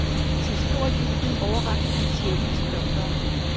Til stor jubel overrakte han checken til doktoren.